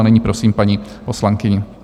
A nyní prosím paní poslankyni.